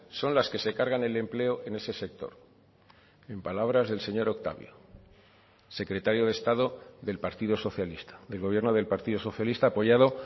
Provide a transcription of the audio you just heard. son las que se cargan el empleo en ese sector en palabras del señor octavio secretario de estado del partido socialista del gobierno del partido socialista apoyado